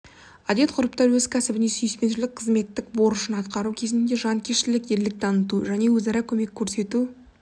әдет-ғұрыптар өз кәсібіне сүйіспеншілік қызметтік борышын атқару кезінде жанкештік ерлік таныту және өзара көмек көрсету